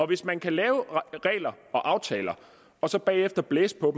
hvis man kan lave regler og aftaler og så bagefter blæse på